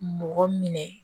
Mɔgɔ minɛ